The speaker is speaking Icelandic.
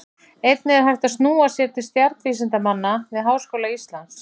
Einnig er hægt að snúa sér til stjarnvísindamanna við Háskóla Íslands.